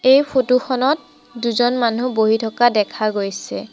এই ফটো খনত দুজন মানুহ বহি থকা দেখা গৈছে।